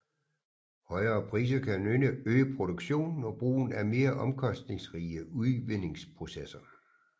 Højere priser kan øge produktionen og brugen af mere omkostningsrige udvindingsprocesser